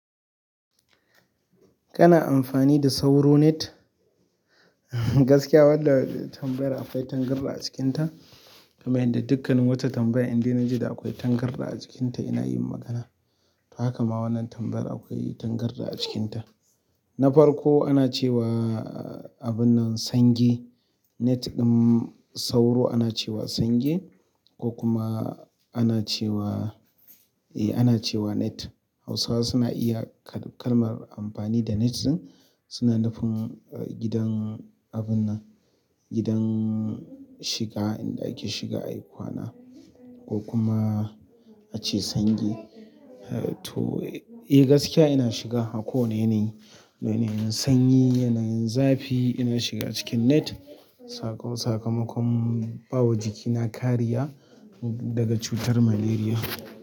Kana amfani da sauro net? Wadda tambayar akwai tangarɗa a cikinta. Kamai yanda dukkan wata tambaya inda na ji da akwai tangarɗa a cikinta ina yin magana. To, haka ma wannan tambayar akwai tangarɗa a cikinta. Na farko ana cewa, abun nan sange. Net ɗin sauro ana cewa sange ko kuma ana cewa, eh ana cewa net. Hausawa suna iya kalmar amfani da net ɗin. Suna nufin gidan abun nan, gidan shiga inda ake shiga ayi kwana ko kuma ace sange. To, eh gaskiya ina shiga. A ko wanne yanayi, yanyin sanyi, yanayin zafi ina shiga cikin net. Sakamakon bawa jikina kariya daga cutar malaria.